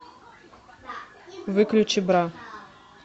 выключи бра